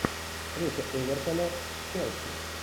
встреча эвертона с челси